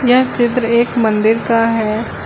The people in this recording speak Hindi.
यह चित्र एक मंदिर का है।